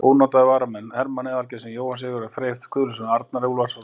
Ónotaðir varamenn: Hermann aðalgeirsson, Jóhann Sigurðsson, Freyr Guðlaugsson, Arnar Úlfarsson.